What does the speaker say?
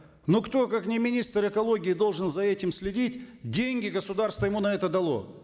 но кто как не министр экологии должен за этим следить деньги государство ему на это дало